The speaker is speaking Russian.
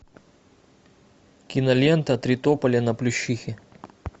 кинолента три тополя на плющихе